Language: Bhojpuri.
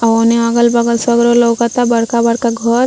ओने अलग बगल सगरो लउकता बड़का बड़का घर।